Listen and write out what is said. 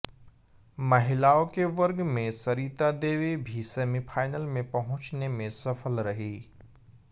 महिलाओं के वर्ग में सरिता देवी भी सेमीफाइनल में पहुंचने में सफल रही